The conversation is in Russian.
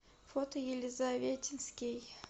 фото елизаветинский